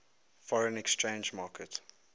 foreign exchange market